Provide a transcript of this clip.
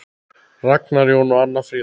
Ragnar Jón og Anna Fríða.